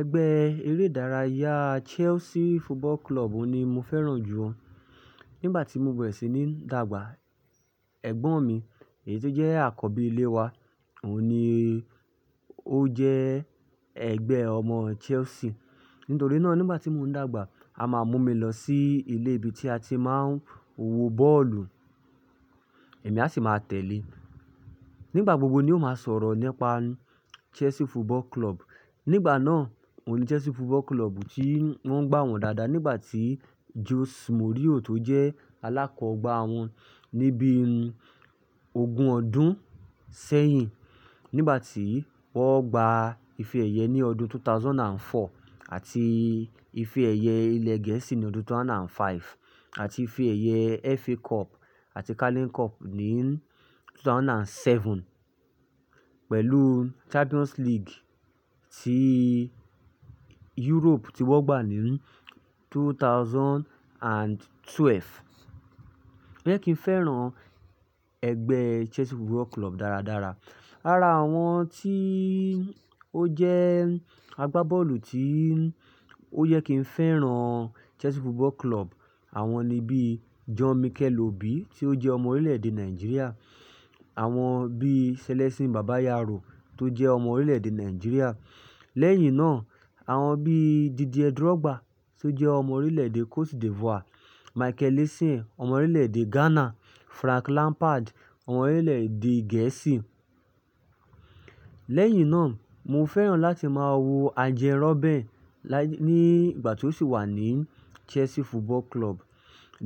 Ẹgbẹ́ eré ìdárayá Chelsea Football Club ni mo fẹ́ràn jù o. Nígbà tí mo bẹ̀rẹ̀ sí ní dàgbà, ẹ̀gbọ́n mi èyí tó jẹ́ àkọ́bí ilé wa òun ni ó jẹ ẹgbẹ́ ọmọ Chelsea. Nítorí náà nígbà tí mò ń dàgbà, a máa mú mi lọ sí ilé ibi tí a ti máa ń wò bọ́ọ̀lù, èmi a sì máa tẹ̀lé. Nígbà gbogbo ni ó máa sọ̀rọ̀ nípa Chelsea Football Club. Nígbà náà òun ni Chelsea Football Club tí wọ́n ń gbá wọn dáadáa nígbà tí Jose Mourinho tó jẹ́ alákọ̀ọ́gbà wọn níbí ogún ọdún sẹ́yìn. Nígbà tí wọ́n gba ife ẹ̀yẹ ní ọdún 2004 àti ife ẹ̀yẹ ilẹ̀ Gẹ̀ẹ́sì ní ọdún 2005 àti ife ẹ̀yẹ FA Cup àti Carling Cup ní 2007 pẹ̀lú Champions League tí Europe tí wọ́n gbà ní 2012. Ọ̀yẹ́ kí n fẹ́ràn ẹgbẹ́ Chelsea Football Club dáradára. Lára àwọn tí ó jẹ́ agbá bọ́ọ̀lù tí ó yẹ kí n fẹ́ràn Chelsea Football Club, àwọn ni bí John Mikel Obi tí ó jẹ́ ọmọ orílẹ̀-èdè Nàìjíríà, àwọn bí Celestine Babayaro tó jẹ́ ọmọ orílẹ̀-èdè Nàìjíríà. Lẹ́yìn náà, àwọn bí Didier Drogba tó jẹ́ ọmọ orílẹ̀-èdè Côte d'Ivoire, Michael Essien ọmọ orílẹ̀-èdè Ghana, Frank Lampard ọmọ orílẹ̀-èdè Gẹ̀ẹ́sì. Lẹ́yìn náà, mo fẹ́ràn láti máa wo Arjen Robben nígbà tí ó sì wà ní Chelsea Football Club,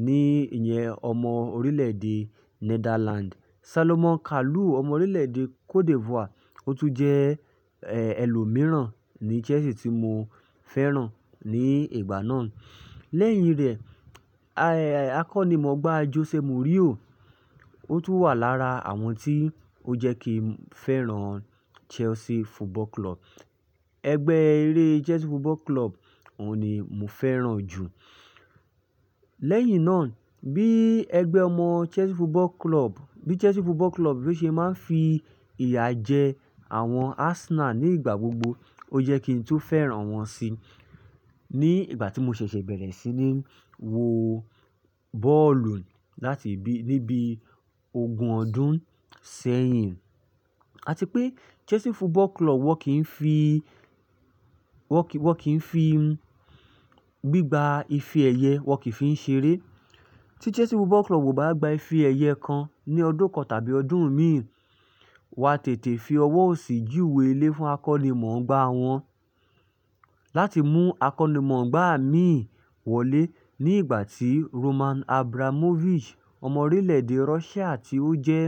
ní ìyẹn ọmọ orílẹ̀-èdè Netherlands. Salomon Kalou ọmọ orílẹ̀-èdè Côte d'Ivoire, ó tún jẹ́ ẹlòmíràn ní Chelsea tí mo fẹ́ràn ní ìgbà náà. Lẹ́yìn rẹ̀, akọ́nimọ̀ọ́gbà Jose Mourinho ó tún wà lára àwọn tí ó jẹ kí n fẹ́ràn Chelsea Football Club. Ẹgbẹ́ eré Chelsea Football Club òun ni mo fẹ́ràn jù. Lẹ́yìn náà, bí ẹgbẹ́ ọmọ Chelsea Football Club, bí Chelsea Football Club bo ṣe máa ń fi ìyà jẹ àwọn Arsenal nígbà gbogbo, ó jẹ́ kí n tun fẹ́ràn wọ́n sí ní ìgbà tí mo ṣẹ̀ṣẹ̀ bẹ̀rẹ̀ sí ní wò bọ́ọ̀lù láti bi, níbi ogún ọdún sẹ́yìn. Àti pé Chelsea Football Club wọ́n kì í fi, wọ́n kì í fi gbígba ife ẹ̀yẹ, wọ́n kì í fi ń ṣeré. Tí Chelsea Football Club ò bá gba ife ẹ̀yẹ kan ní ọdún kan tàbí ọdún míìràn, wọ́n á tètè fi ọwọ́ òsì ju ìwé ilé fún akọ́nimọ̀ọ́gbà wọn láti mú akọ́nimọ̀ọ́gbà míì wọlé nígbà tí Roman Abramovich ọmọ orílẹ̀-èdè Russia tí ó jẹ́,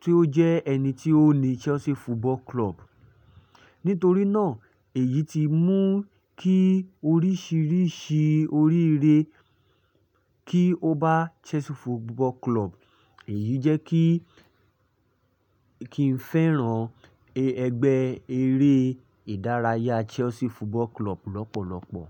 tí ó jẹ́ ẹni tí ó ni Chelsea Football Club. Nítorí náà èyí ti mú kí oríṣìíríṣìí oríire kí ó bá Chelsea Football Club, èyí jẹ́ kí, kí n fẹ́ràn ẹgbẹ́ eré ìdárayá Chelsea Football Club lọ́pọ̀lọ́pọ̀.